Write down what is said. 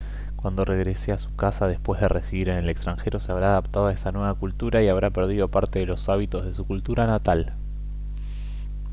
cuando regrese a su casa después de residir en el extranjero se habrá adaptado a esa nueva cultura y habrá perdido parte de los hábitos de su cultura natal